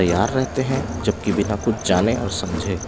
तैयार रहते हैं जबकि बिना कुछ जाने और समझे नहीं--